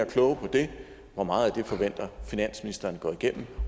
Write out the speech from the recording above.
klogere på det hvor meget af det forventer finansministeren går igennem